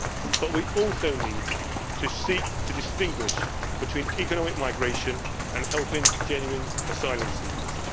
But we also need to seek to distinguish between economic migration and helping genuine asylum seekers.